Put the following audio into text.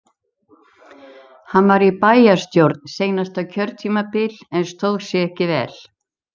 Hann var í bæjarstjórn seinasta kjörtímabil en stóð sig ekki vel.